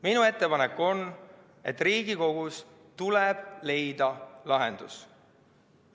Minu ettepanek on, et Riigikogus tuleb leida lahendus.